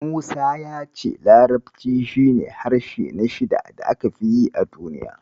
Musa ya ce larabci shi ne harshe na shida da aka fi yi a duniya.